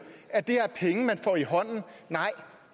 at det er penge man får i hånden nej